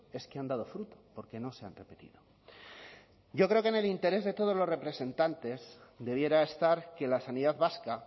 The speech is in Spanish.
es que han dado fruto porque no se han repetido yo creo que en el interés de todos los representantes debiera estar que la sanidad vasca